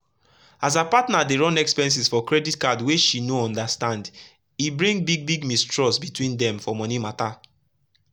as her partner dey run expenses for credit card wey she no understand e bring big big mistrust between dem for money matter.